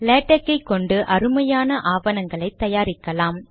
LaTeX ஐ கொண்டு அருமையான ஆவணங்களை தயாரிக்கலாம்